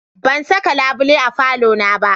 Ban saka labule a falona ba.